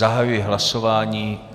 Zahajuji hlasování.